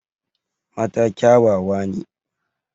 Mata kyawawa ne.